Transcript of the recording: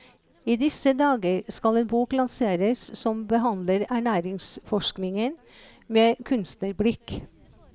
I disse dager skal en bok lanseres som behandler ernæringsforskningen med kunstnerblikk.